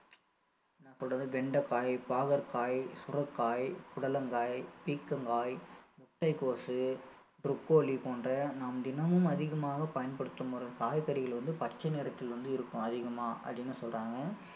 என்ன சொல்றது வெண்டைக்காய், பாகற்காய், சுரைக்காய், புடலங்காய், பீர்க்கங்காய், முட்டைக்கோசு, ப்ரோக்கோலி போன்ற நாம் தினமும் அதிகமாக பயன்படுத்தும் ஒரு காய்கறிகள் வந்து பச்சை நிறத்தில் வந்து இருக்கும் அதிகமா அப்படின்னு சொல்றாங்க